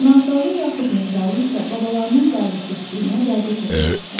Nağdalı yaxud Mehralı isə babalarının qayğıkeşliyinə vərdiş eləmişdilər.